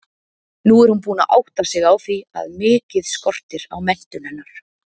Nú er hún búin að átta sig á því að mikið skortir á menntun hennar.